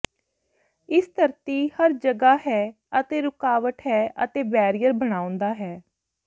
ਇਸ ਧਰਤੀ ਹਰ ਜਗ੍ਹਾ ਹੈ ਅਤੇ ਰੁਕਾਵਟ ਹੈ ਅਤੇ ਬੈਰੀਅਰ ਬਣਾਉਦਾ ਹੈ